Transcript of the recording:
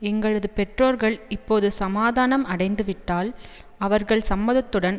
எங்களது பெற்றோர்கள் இப்போது சமாதானம் அடைந்துவிட்டால் அவர்கள் சம்மதத்துடன்